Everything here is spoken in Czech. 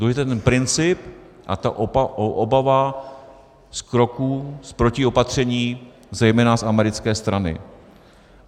Důležitý je ten princip a ta obava z kroků, z protiopatření zejména z americké strany.